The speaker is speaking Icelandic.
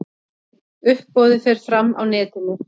Uppboðið fer fram á netinu.